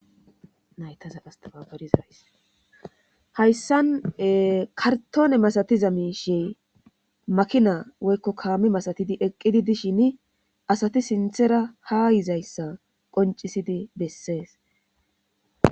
Hayssan ee karttone masatiza mishshi makina kaame masatidi eqqidi dishini asati sinthera ha yizayssa qonccisidi besses.